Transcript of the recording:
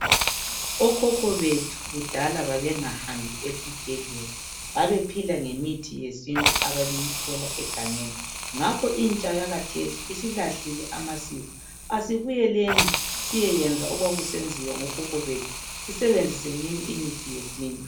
Okhokho bethu kudala babengahambi ezibhedlela, babephila ngemithi yesintu ababeyiyithola egangeni ngakho intsha yakhathesi isilahlile amasiko, asibuyeleni siyeyenza okwakusenziwa ngokhokho bethu singalahli imithi yesintu.